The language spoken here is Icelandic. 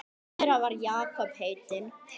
Einn þeirra var Jakob heitinn